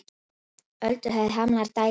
Ölduhæð hamlar dælingu